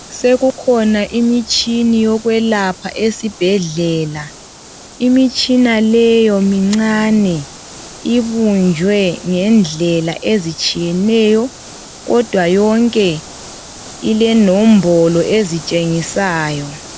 Sekukhona imitshini yokwelapha esibhedlela. Imitshina leyo mincane. Ibunjwe ngendlela ezitshiyeneyo, kodwa yonke ilenombolo ezitshengisayo.